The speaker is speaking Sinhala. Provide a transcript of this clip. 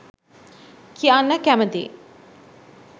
කියන්න කැමතියි